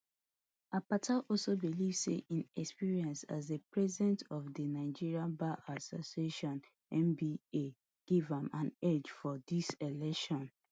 akpata also believe say im experience as di president of di nigerian bar association nba give am an edge for dis election